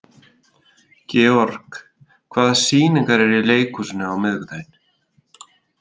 George, hvaða sýningar eru í leikhúsinu á miðvikudaginn?